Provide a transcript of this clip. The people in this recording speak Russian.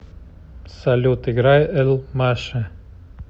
салют играй эль маше